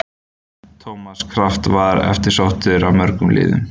Thomas Kraft var eftirsóttur af mörgum liðum.